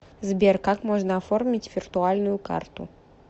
сбер как можно оформить виртуальную карту